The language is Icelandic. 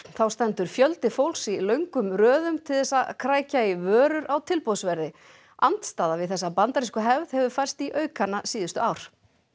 þá stendur fjöldi fólks í löngum röðum til þess að krækja í vörur á tilboðsverði andstaða við þessa bandarísku hefð hefur færst í aukana síðustu ár